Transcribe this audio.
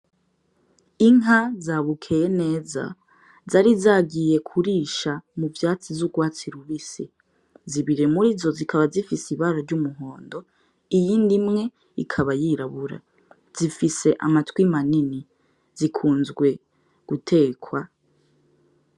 Inka za Bukeye neza zari zagiye kurishamuvyatsi vy'urwatsi rubisi. Zibiri muri izo zikaba zifise ibara iry'umuhondo iyindi imwe ikaba yirabura. Zifise amatwi manini, zikunzwe gutekwa.